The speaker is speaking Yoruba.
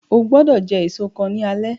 Ogbọ́do jẹ èso kan ní alé